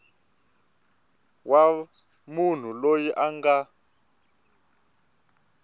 wa munhu loyi a nga